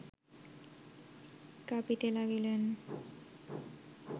কাঁপিতে লাগিলেন